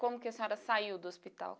Como que a senhora saiu do hospital?